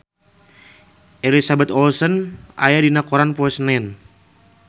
Elizabeth Olsen aya dina koran poe Senen